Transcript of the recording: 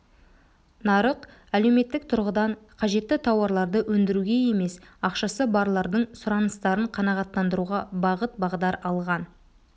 нарық әлеуметтік тұрғыдан қажетті тауарларды өндіруге емес ақшасы барлардың сұраныстарын қанағаттандыруға бағыт-бағдар алған